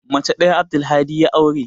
Mace ɗaya Abdulhadi ya aure.